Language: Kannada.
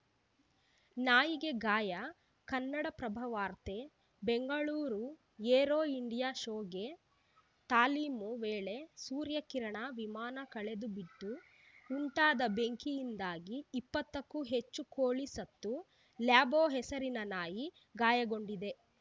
ನಾಯಿಗೆ ಗಾಯ ಕನ್ನಡಪ್ರಭ ವಾರ್ತೆ ಬೆಂಗಳೂರು ಏರೋ ಇಂಡಿಯಾ ಶೋಗೆ ತಾಲೀಮು ವೇಳೆ ಸೂರ್ಯಕಿರಣ ವಿಮಾನ ಕೆಳಗೆ ಬಿದ್ದು ಉಂಟಾದ ಬೆಂಕಿಯಿಂದಾಗಿ ಇಪ್ಪತ್ತಕ್ಕೂ ಹೆಚ್ಚು ಕೋಳಿ ಸತ್ತು ಲ್ಯಾಬೋ ಹೆಸರಿನ ನಾಯಿ ಗಾಯಗೊಂಡಿದೆ